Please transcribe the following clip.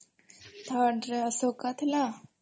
third ରେ ଅଶୋକା ଥିଲା